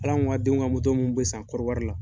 Hali an k'a den ka mun bɛ san kɔriwari la